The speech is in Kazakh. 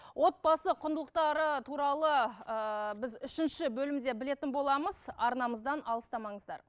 отбасы құндылықтары туралы ыыы біз үшінші бөлімде білетін боламыз арнамыздан алыстамаңыздар